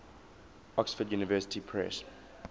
oxford university press